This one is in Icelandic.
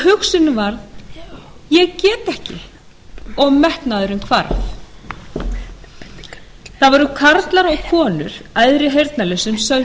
hugsunin varð ég get ekki og metnaðurinn hvarf það voru karlar og konur æðri heyrnarlausum sem